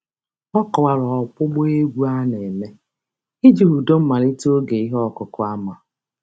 Ọ kọwara ọgbụgba egwu a na-eme iji hudo mmalite oge ihe ọkụkụ ama.